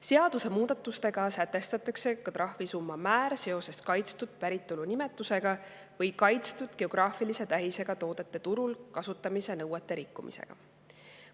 Seadusemuudatustega sätestatakse ka trahvisumma määr seoses kaitstud päritolunimetusega või kaitstud geograafilise tähisega toodete turul kasutamise nõuete rikkumisega.